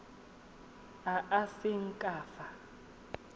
a a seng ka fa